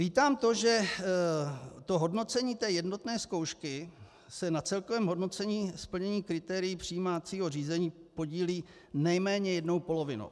Vítám to, že to hodnocení té jednotné zkoušky se na celkovém hodnocení splnění kritérií přijímacího řízení podílí nejméně jednou polovinou.